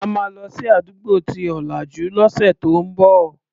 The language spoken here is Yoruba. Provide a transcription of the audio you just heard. A máa lọ sí àdúgbò tí ò lajú lọ́sẹ̀ tó ń bọ̀.